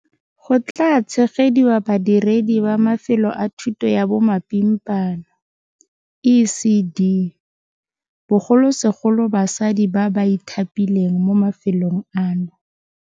Go tla tshegediwa badiredi ba mafelo a thuto ya bomapimpana, ECD, bogolosegolo basadi ba ba ithapileng mo mafelong ano.